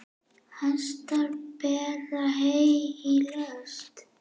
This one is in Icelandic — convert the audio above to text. Hestar bera hey í lest.